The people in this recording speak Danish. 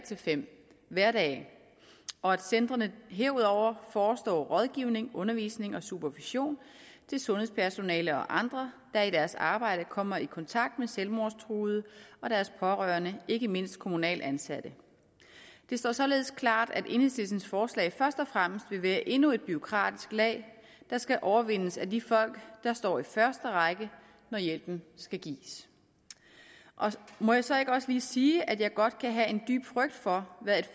fem hverdage og at centrene herudover forestår rådgivning undervisning og supervision til sundhedspersonale og andre der i deres arbejde kommer i kontakt med selvmordstruede og deres pårørende ikke mindst kommunalt ansatte det står således klart at enhedslistens forslag først og fremmest vil være endnu et bureaukratisk lag der skal overvindes af de folk der står i første række når hjælpen skal gives må jeg så ikke også lige sige at jeg godt kan have en dyb frygt for hvad